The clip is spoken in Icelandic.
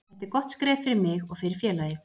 Þetta er gott skref fyrir mig og fyrir félagið.